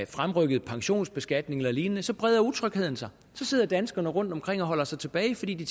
fremrykket pensionsbeskatning eller lignende breder utrygheden sig så sidder danskerne rundtomkring og holder sig tilbage fordi de